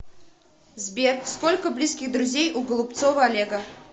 сбер сколько близких друзей у голубцова олега